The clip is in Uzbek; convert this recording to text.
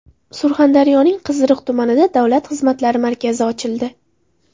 Surxondaryoning Qiziriq tumanida Davlat xizmatlari markazi ochildi .